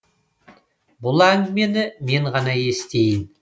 бұл әңгімені мен ғана естиін